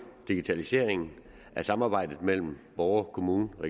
digitaliseringen af samarbejdet mellem borgere kommuner og